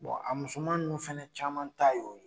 Bon a musoman ninnu fɛnɛ caman ta y'o ye